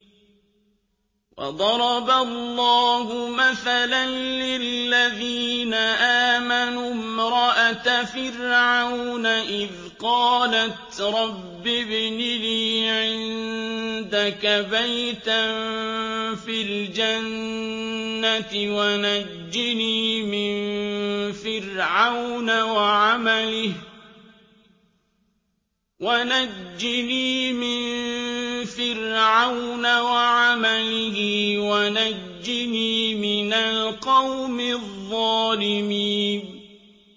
وَضَرَبَ اللَّهُ مَثَلًا لِّلَّذِينَ آمَنُوا امْرَأَتَ فِرْعَوْنَ إِذْ قَالَتْ رَبِّ ابْنِ لِي عِندَكَ بَيْتًا فِي الْجَنَّةِ وَنَجِّنِي مِن فِرْعَوْنَ وَعَمَلِهِ وَنَجِّنِي مِنَ الْقَوْمِ الظَّالِمِينَ